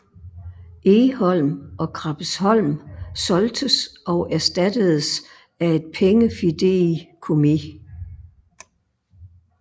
Egholm og Krabbesholm solgtes og erstattedes af et pengefideikommis